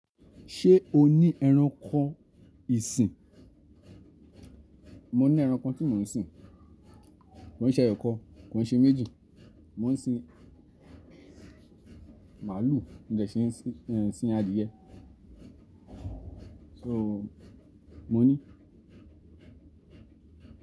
Ṣé o ní ẹranko ìsìn? Mo ní ẹranko tí mò ń sìn. Ko n ṣe ẹyọkan, kò n ṣe méjì. Mò ń sin màálù, mo dẹ̀ si ń sin adìẹ. So, mo ní.